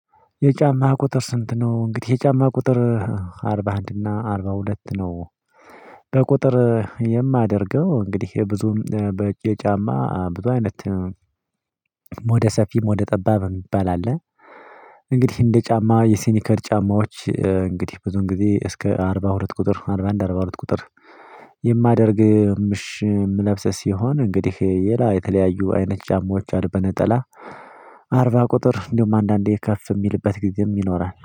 የጫማህ ቁጥር ስንት ነው? እንግዲህ የጫማ ቁጥር አርባ አንድ እና አርባ ሁለት ነው። በቁጥር የማደርገው እንግዲህ ይሄ ብዙም በእጄ ጫማ ብዙ አይነት ሞደ ሰፊም ሞደ ጠባብም የሚባል አለ። እንግዲህ እንደ ጫማ የስኒከር ጫማዎች እንግዲህ ብዙ ጊዜ እስከ አርባ ሁለት ቁጥር አርባ አንድ አርባ ሁለት ቁጥር። የማደርግ ምሽም ልብስ ሲሆን እንግዲህ ሌላ የተለያዩ አይነት ጫማዎች አሉ። በነጠላ አርባ ቁጥር እንደውም አንዳንዴ ከፍ የሚልበት ጊዜ ይኖራል